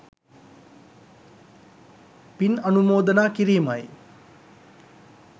පින් අනුමෝදනා කිරීමයි.